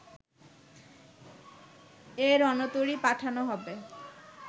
এ রণতরী পাঠানো হবে